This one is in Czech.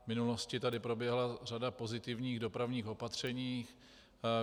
V minulosti tady proběhla řada pozitivních dopravních opatření.